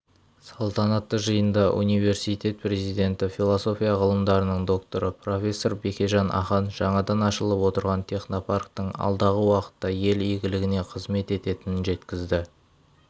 салтанатты жиында университет президенті философия ғылымдарының докторы профессор бекежан ахан жаңадан ашылып отырған технопарктің алдағы уақытта ел игілігіне қызмет ететінін жеткізді